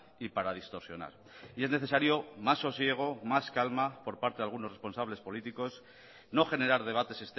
y para distorsionar y es necesario más sosiego más calma por parte de algunos responsables políticos no generar debates